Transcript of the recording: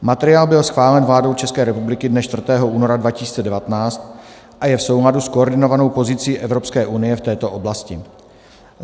Materiál byl schválen vládou České republiky dne 4. února 2019 a je v souladu s koordinovanou pozicí Evropské unie v této oblasti.